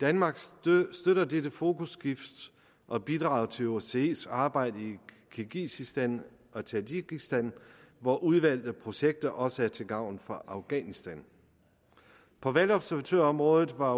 danmark støtter dette fokusskift og bidrager til osces arbejde i kirgisistan og tadsjikistan hvor udvalgte projekter også er til gavn for afghanistan på valgobservatørområdet var